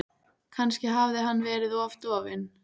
Kannski hafði hann verið of dofinn.